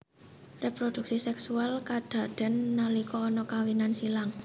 Reproduksi seksual kadaden nalika ana kawinan silang